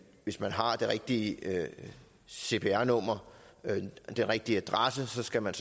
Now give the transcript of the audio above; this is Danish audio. hvis man har det rigtige cpr nummer den rigtige adresse så skal man